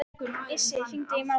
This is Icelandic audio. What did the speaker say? Issi, hringdu í Málfreð.